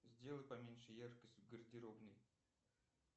сделай поменьше яркость в гардеробной